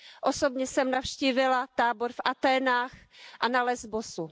Osobně jsem navštívila tábor v Aténách a na Lesbosu.